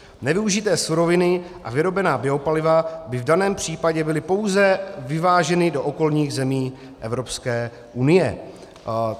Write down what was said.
Nevyužité suroviny a vyrobená biopaliva by v daném případě byly pouze vyváženy do okolních zemí EU."